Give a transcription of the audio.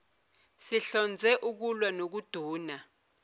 sihlonze ukulwa nokuduna